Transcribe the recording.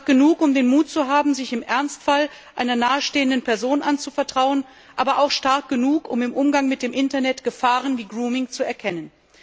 Stark genug, um den Mut zu haben, sich im Ernstfall einer nahestehenden Person anzuvertrauen, aber auch stark genug, um im Umgang mit dem Internet Gefahren wie Grooming zu erkennen.